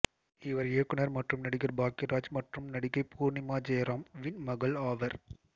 இவர் இயக்குனர் மற்றும் நடிகர் பாக்யராஜ் மற்றும் நடிகை பூர்ணிமா ஜெயராம் வின் மகள் ஆவார்